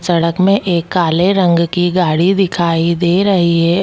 सड़क में एक काले रंग की गाड़ी दिखाई दे रही है उस --